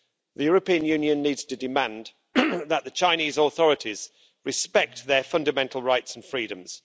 The European Union needs to demand that the Chinese authorities respect their fundamental rights and freedoms.